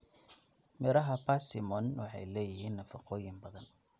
Midhaha persimmon waxay leeyihiin nafaqooyin badan.